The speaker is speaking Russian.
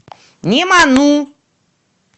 неману